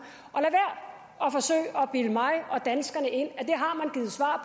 og at forsøge at bilde mig og danskerne ind at at